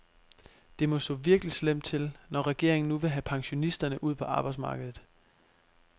Det må stå virkelig slemt til, når regeringen nu vil have pensionisterne ud på arbejdsmarkedet.